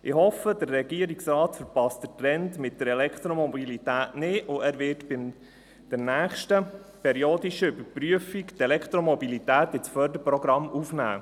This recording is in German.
Ich hoffe, der Regierungsrat verpasse den Trend bei der Elektromobilität nicht und werde bei der nächsten periodischen Prüfung die Elektromobilität ins Förderprogramm aufnehmen.